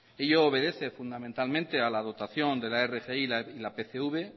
ello obedece fundamentalmente a la dotación de la rgi y la pcv